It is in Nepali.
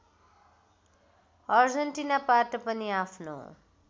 अर्जेन्टिनाबाट पनि आफ्नो